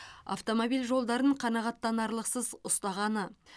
автомобиль жолдарын қанағаттанарлықсыз ұстағаны